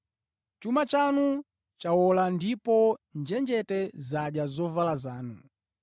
Chuma chanu chawola ndipo njenjete zadya zovala zanu.